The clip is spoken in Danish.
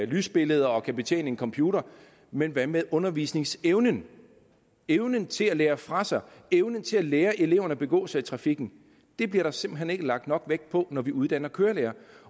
lysbilleder og kan betjene en computer men hvad med undervisningsevnen evnen til at lære fra sig evnen til at lære eleverne at begå sig i trafikken bliver der simpelt hen ikke lagt nok vægt på når vi uddanner kørelærere